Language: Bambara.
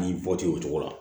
N'i bɔ tɛ o cogo la